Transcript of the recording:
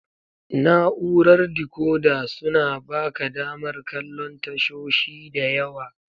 Na'urar dekoda suna baka damar kallon tashoshi da yawa.